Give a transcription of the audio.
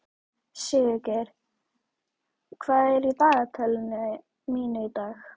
Sigurgeir, hvað er í dagatalinu mínu í dag?